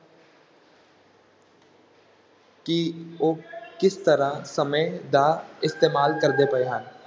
ਕਿ ਉਹ ਕਿਸ ਤਰ੍ਹਾਂ ਸਮੇਂ ਦਾ ਇਸਤੇਮਾਲ ਕਰਦੇ ਪਏ ਹਨ,